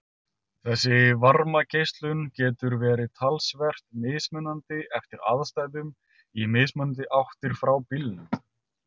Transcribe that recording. Þessi varmageislun getur verið talsvert mismunandi eftir aðstæðum í mismunandi áttir frá bílnum.